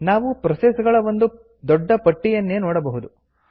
ನಾವು ಪ್ರೋಸೆಸ್ ಗಳ ಒಂದು ದೊಡ್ಡ ಪಟ್ಟಿಯನ್ನೇ ನೋಡಬಹುದು